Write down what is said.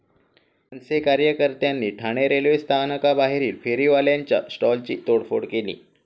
मनसे कार्यकर्त्यांनी ठाणे रेल्वे स्थानकाबाहेरील फेरीवाल्यांच्या स्टॉल्सची तोडफोड केली.